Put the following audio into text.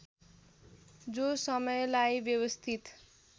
जो समयलाई व्यवस्थित